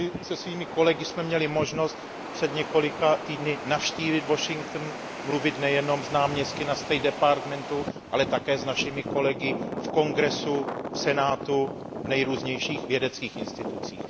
My se svými kolegy jsme měli možnost před několika týdny navštívit Washington, mluvit nejenom s náměstky na State Departament, ale také s našimi kolegy v Kongresu, v Senátu, v nejrůznějších vědeckých institucích.